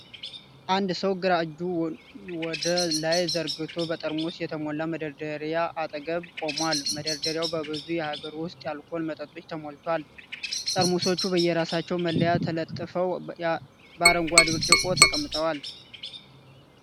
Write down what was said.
አንድ ሰው ግራ እጁን ወደ ላይ ዘርግቶ በጠርሙስ የተሞላ መደርደሪያ አጠገብ ቆሟል፡፡ መደርደሪያው በብዙ የሀገር ውስጥ የአልኮል መጠጦች ተሞልቷል፡፡ ጠርሙሶቹ በየራሳቸው መለያ ተለጥፈው በአረንጓዴ ብርጭቆ ተቀምጠዋል፡፡